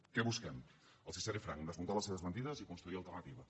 què busquem els seré franc desmuntar les seves mentides i construir alternativa